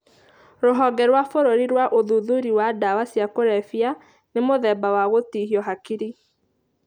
Rũhonge rwa bũrũri rwa ũhũthĩri wa ndawa cia kũrebia. Nĩ mũthemba wa gũtihio hakiri.